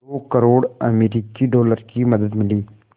दो करोड़ अमरिकी डॉलर की मदद मिली